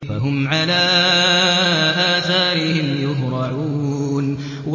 فَهُمْ عَلَىٰ آثَارِهِمْ يُهْرَعُونَ